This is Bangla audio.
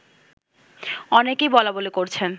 অনেকেই বলাবলি করছেন